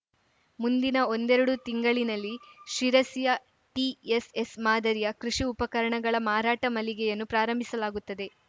ಮುಂದಿನ ಒಂದೆರಡು ತಿಂಗಳಿನಲ್ಲಿ ಶಿರಸಿಯ ಟಿಎಸ್‌ಎಸ್‌ ಮಾದರಿಯ ಕೃಷಿ ಉಪಕರಣಗಳ ಮಾರಾಟ ಮಳಿಗೆಯನ್ನು ಪ್ರಾರಂಭಿಸಲಾಗುತ್ತದೆ